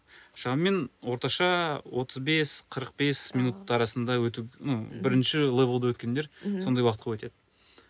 шамамен орташа отыз бес қырық бес минут арасында өтіп ну бірінші левлді өткендер сондай уақытқа өтеді